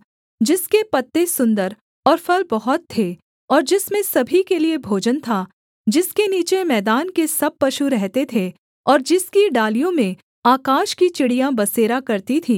जिसके पत्ते सुन्दर और फल बहुत थे और जिसमें सभी के लिये भोजन था जिसके नीचे मैदान के सब पशु रहते थे और जिसकी डालियों में आकाश की चिड़ियाँ बसेरा करती थीं